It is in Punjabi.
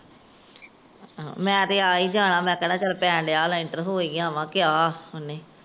ਮੈ ਤਾਂ ਆ ਏ ਜਾਣਾ।, ਮੈ ਪੈਣ ਰਿੱਹਾ ਲੈਂਟਰ ਹੋ ਏ ਆਵੈ।